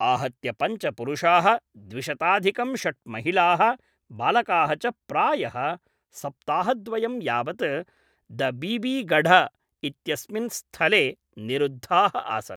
आहत्य पञ्च पुरुषाः द्विशताधिकं षट् महिलाः बालकाः च प्रायः सप्ताहद्वयं यावत् द बीबीगढ इत्यस्मिन् स्थले निरुद्धाः आसन्।